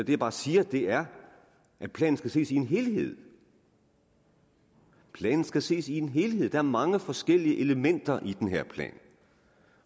jeg bare siger er at planen skal ses i en helhed planen skal ses i en helhed for der er mange forskellige elementer i den her plan